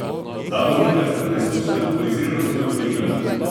Dva voznika sta preizkus alkoholiziranosti odklonila.